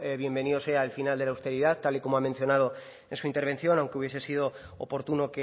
bienvenido sea el final de la austeridad tal y como ha mencionado en su intervención aunque hubiese sido oportuno